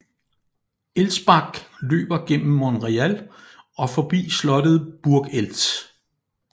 Elzbach løber gennem Monreal og forbi slottet Burg Eltz